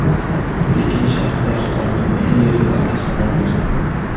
Pekin shahrida Xitoyning eng yirik avtosaloni ochildi .